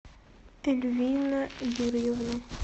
эльвина юрьевна